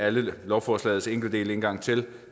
alle lovforslagets enkeltdele en gang til